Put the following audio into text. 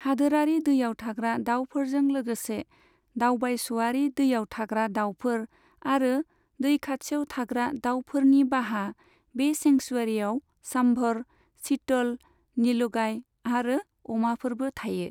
हादोरारि दैआव थाग्रा दावफोरजों लोगोसे दावबायस'आरि दैआव थाग्रा दावफोर आरो दै खाथियाव थाग्रा दावफोरनि बाहा, बे सेंक्सुवेरियाव सांभर, चीतल, नीलगाय आरो अमाफोरबो थायो।